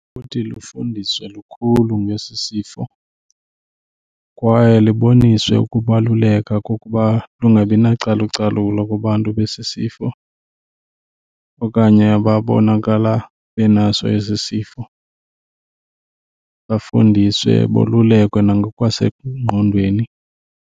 Kuthi lufundiswe lukhulu ngesi sifo kwaye liboniswe ukubaluleka kokuba lungabi nacalucalulo kubantu besi sifo okanye ababonakala benaso esi sifo, bafundiswe bolulekwe nangokwasengqondweni.